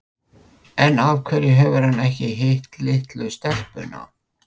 En af hverju hefur hann ekki hitt litlu stelpuna?